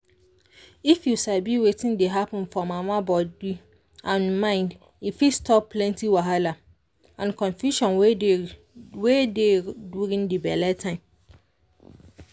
if you sabi wetin dey happen for mama body and mind e fit stop plenty wahala and confusion wey dey wey dey during the belle time.